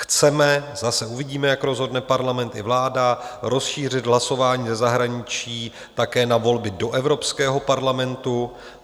Chceme - zase uvidíme, jak rozhodne Parlament i vláda - rozšířit hlasování ze zahraničí také na volby do Evropského parlamentu.